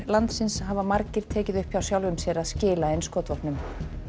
landsins hafa margir tekið upp hjá sjálfum sér að skila inn skotvopnum